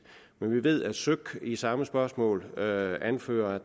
men vi ved at søk i samme spørgsmål anfører